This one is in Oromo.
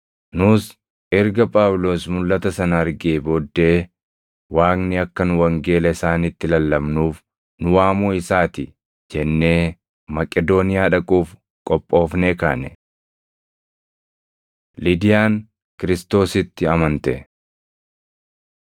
Nus erga Phaawulos mulʼata sana argee booddee, Waaqni akka nu wangeela isaanitti lallabnuuf nu waamuu isaati jennee Maqedooniyaa dhaquuf qophoofnee kaane. Lidiyaan Kiristoositti Amante